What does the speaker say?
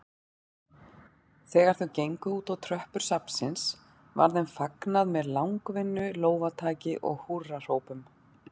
Þegar þau gengu útá tröppur safnsins var þeim fagnað með langvinnu lófataki og húrrahrópum.